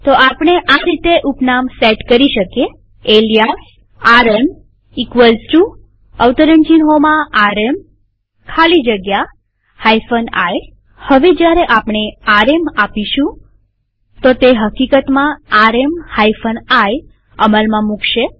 તો આપણે આ રીતે ઉપનામ સેટ કરી શકીએalias rmrm ખાલી જગ્યા i હવે જયારે આપણે આરએમ આપીશુંતે હકીકતમાં આરએમ i અમલમાં મુકશે